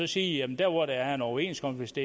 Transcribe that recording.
sige at der hvor der er en overenskomst